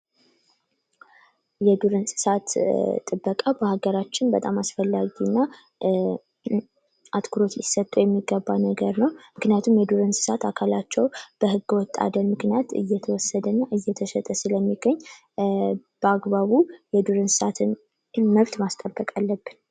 የዱር እንሰሳት ጥበቃ በሀገራችን አስፈላጊና አትኩሮት ሊሰጠው የሚገባ ነገር ነው። ምክንያቱም የዱር እንሰሳት በህገወጥ አደን ምክንያት እየተወሰደና እየተሸጠ ስለሚገኝ በአግባቡ የዱር እንሰሳት መብት ማስጠበቅ አለብን።